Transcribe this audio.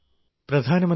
പ്രധാനമന്ത്രിജീ